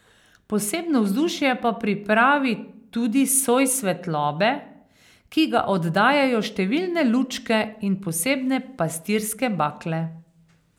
Posebno vzdušje pa pripravi tudi soj svetlobe, ki ga oddajajo številne lučke in posebne pastirske bakle.